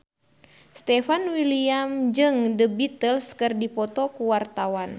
Stefan William jeung The Beatles keur dipoto ku wartawan